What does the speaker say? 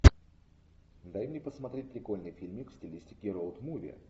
дай мне посмотреть прикольный фильмик в стилистике роуд муви